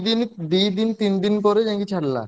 ଦିଦିନ ଦିଦିନ ତିନଦିନ ପରେ ଯାଇଁ ଛାଡିଲା।